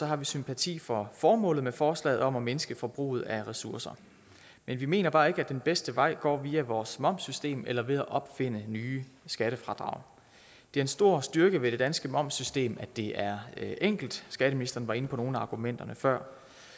har vi sympati for formålet med forslaget om at mindske forbruget af ressourcer men vi mener bare ikke at den bedste vej går via vores momssystem eller ved at opfinde nye skattefradrag det er en stor styrke ved det danske momssystem at det er enkelt skatteministeren var inde på nogle af argumenterne før